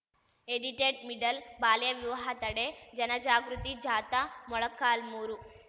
ಎಡಿಟೆಡ್‌ಮಿಡಲ್‌ ಬಾಲ್ಯ ವಿವಾಹ ತಡೆ ಜನಜಾಗೃತಿ ಜಾಥಾ ಮೊಳಕಾಲ್ಮುರು